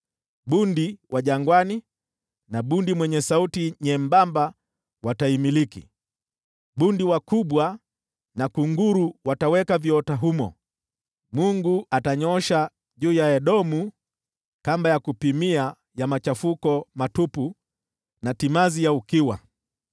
Bundi wa jangwani na bundi mwenye sauti nyembamba wataimiliki, bundi wakubwa na kunguru wataweka viota humo. Mungu atanyoosha juu ya Edomu kamba ya kupimia ya machafuko matupu, na timazi ya ukiwa.